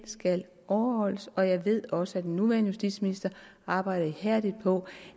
skal overholdes og jeg ved også at den nuværende justitsminister arbejder ihærdigt på